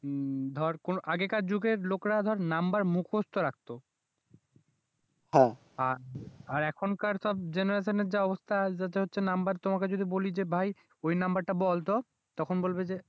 ধর আগেকার যুগের লোকেরা ধর নাম্বার মুখস্ত রাখত, আর এখনকার সব জেনারেশন এর যা অবস্থা যাতে হচ্ছে নাম্বার তোমাকে যদি বলি যে ভাই ওই নাম্বার টা বলতো তখন বলবে যে